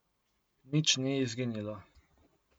Nič ni izginilo.